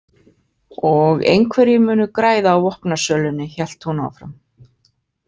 Og einhverjir munu græða á vopnasölunni, hélt hún áfram.